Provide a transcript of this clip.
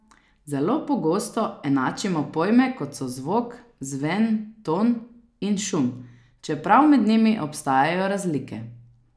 Zelo pogosto enačimo pojme, kot so zvok, zven, ton in šum, čeprav med njimi obstajajo razlike.